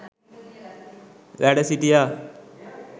වැඩ සිටියා.